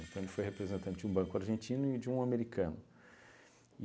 Então ele foi representante de um banco argentino e de um americano.